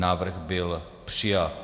Návrh byl přijat.